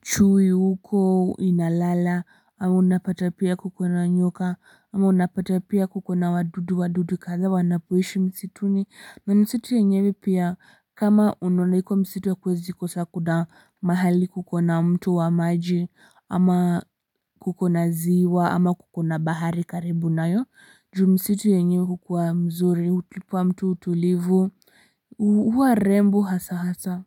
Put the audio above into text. chui huko inalala ama unapata pia kukona nyoka ama unapata pia kukona wadudu wadudu kadha wanapoishi msituni na msitu yenyewe pia kama unaonaiko msitu hakuwezi kosa kuna mahali kukona mto wa maji ama kukona ziwa ama kuko na bahari karibu nayo juu msitu yenyewe hukuwa mzuri humpa mtu utulivu huwa rembo hasa hasa.